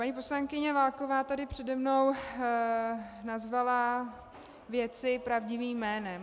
Paní poslankyně Válková tady přede mnou nazvala věci pravdivým jménem.